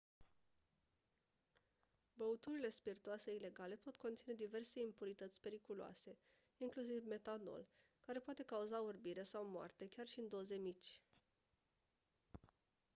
băuturile spirtoase ilegale pot conține diverse impurități periculoase inclusiv metanol care poate cauza orbire sau moarte chiar și în doze mici